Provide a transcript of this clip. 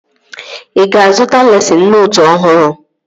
Ị ga-azụta lesịn nootu ọhụrụ?